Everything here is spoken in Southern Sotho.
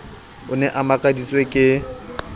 o ne a makaditswe ke